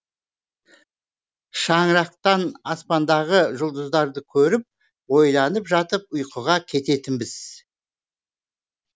шаңырақтан аспандағы жұлдыздарды көріп ойланып жатып ұйқыға кететінбіз